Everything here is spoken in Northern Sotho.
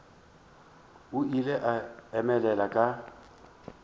o ile a emelela ka